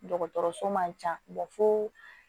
Dɔgɔtɔrɔso man ca fo